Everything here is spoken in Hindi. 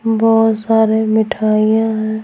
बहुत सारे मिठाइयां हैं।